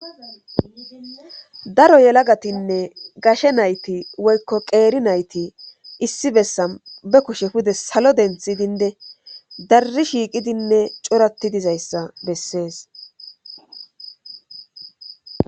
daro yelagatinne gashe nayti woykko qeeri nayti issi bessan be kushe pude salo denthi dinde darri shiiqidinne corati dizayssa bessees